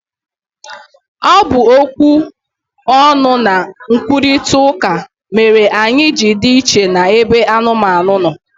Ọ bụ okwu ọnụ na nkwurịta ụka mere anyị ji dị iche n'ebe anụmanụ no